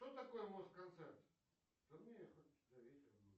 что такое москонцерт